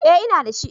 Eh ina dashi